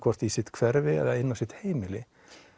í sitt hverfi eða inn á sitt heimili